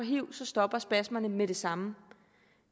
hiv stopper spasmerne med det samme